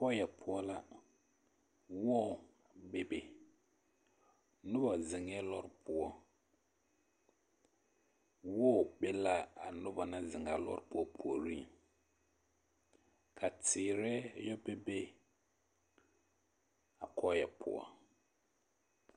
Kɔɔyɛ poɔ la, wɔɔ bebe nobɔ zeŋɛɛ lɔre poɔ, wɔɔ be l'a noba naŋ zeŋ a lɔɔre poɔ puoriŋ ka teere yɔ bebe a kɔɔyɛ poɔ.